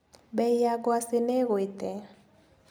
Mbei ya ngwaci nĩigũĩte.